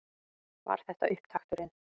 Var þetta upptakturinn?